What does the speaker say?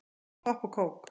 Popp og kók